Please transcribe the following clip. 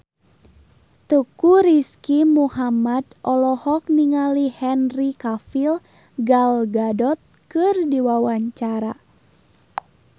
Teuku Rizky Muhammad olohok ningali Henry Cavill Gal Gadot keur diwawancara